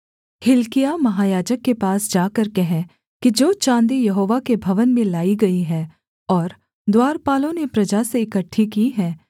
हिल्किय्याह महायाजक के पास जाकर कह कि जो चाँदी यहोवा के भवन में लाई गई है और द्वारपालों ने प्रजा से इकट्ठी की है